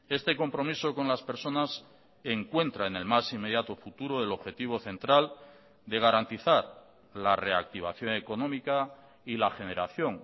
este compromiso con las personas encuentra en el más inmediato futuro del objetivo central de garantizar la reactivación económica y la generación